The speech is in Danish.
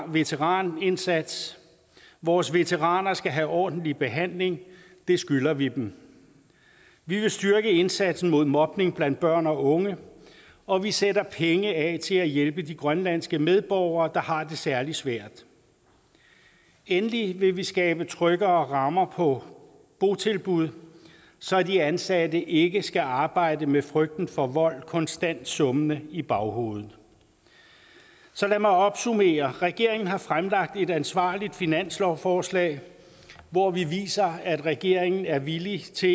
veteranindsats vores veteraner skal have ordentlig behandling det skylder vi dem vi vil styrke indsatsen mod mobning blandt børn og unge og vi sætter penge af til at hjælpe de grønlandske medborgere der har det særlig svært endelig vil vi skabe tryggere rammer på botilbud så de ansatte ikke skal arbejde med frygten for vold konstant summende i baghovedet så lad mig opsummere regeringen har fremlagt et ansvarligt finanslovsforslag hvor vi viser at regeringen er villig til